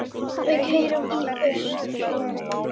Við keyrum í austur